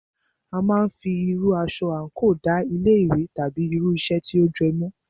A máà ń fí irú aṣọ àńkò da ilé ìwé tàbí irú iṣẹ́ tí o jẹ́ mọ̀.